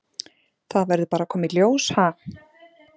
Það verður bara að koma í ljós, ha?